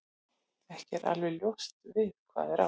Ekki er alveg ljóst við hvað er átt.